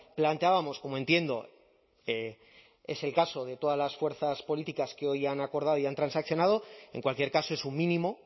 planteábamos como entiendo es el caso de todas las fuerzas políticas que hoy han acordado y han transaccionado en cualquier caso es un mínimo